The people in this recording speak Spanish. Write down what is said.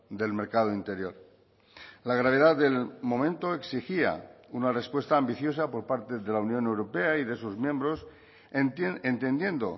del mercado interior la gravedad del momento exigía una respuesta ambiciosa por parte de la unión europea y de sus miembros entendiendo